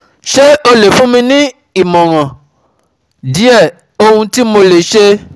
Se o le fun mi um ni awọn imọran um die, ohun ti mo le ṣe um